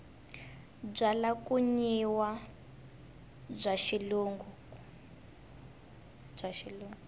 byalwa ku nwiwa bya xilungu